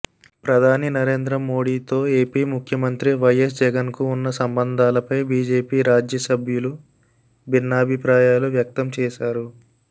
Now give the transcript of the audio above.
ప్రధాని నరేంద్ర మోడీతో ఎపి ముఖ్యమంత్రి వైఎస్ జగన్ కు ఉన్న సంబంధాలపై బిజెపి రాజ్యసభ్యులు భిన్నాభిప్రాయాలు వ్యక్తం చేశారు